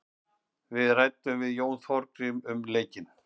Við ræddum við Jón Þorgrím um leikinn.